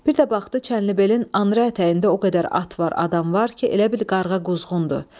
Bir də baxdı, Çənlibelin anrey ətəyində o qədər at var, adam var ki, elə bil qarğa quzğundur.